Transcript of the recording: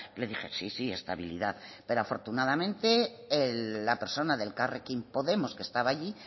le dije sí sí estabilidad pero afortunadamente la persona de elkarrekin podemos que estaba allí